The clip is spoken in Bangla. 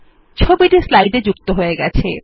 ছবিটি স্লাইডে যুক্ত হয়ে গেছে